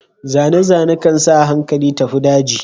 Zane-zane kan sa hankali tafi daji.